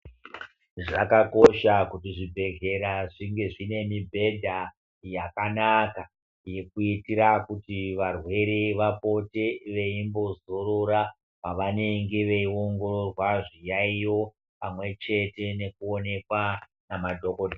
Zvakakosha kuti zvibhedhlera zvinge zvine mibhedha yakanaka yekuitira kuti varwere vapote veimbozorora pavanenge veiongororwa zviyayiyo pamwechete nekuonekwa namadhokodheya.